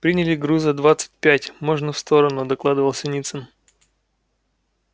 приняли груза двадцать пять можно в сторону докладывал синицын